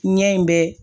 Ɲɛ in bɛ